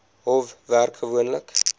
hof werk gewoonlik